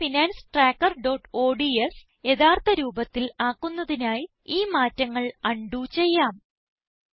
personal finance trackerഓഡ്സ് യഥാർത്ഥ രൂപത്തിൽ ആക്കുന്നതിനായി ഈ മാറ്റങ്ങൾ അൺഡു ചെയ്യാം